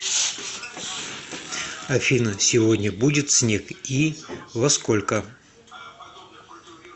афина сегодня будет снег и во сколько